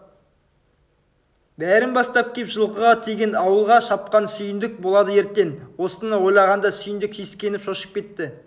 бәрін бастап кеп жылқыға тиген ауылға шапқан сүйіндік болады ертең осыны ойлағанда сүйіндік сескеніп шошып кетті